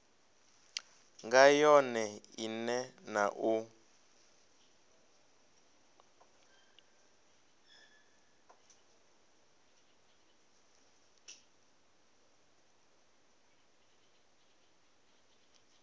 nga yone ine na u